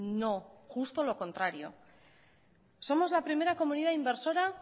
no justo lo contrario somos la primera comunidad inversora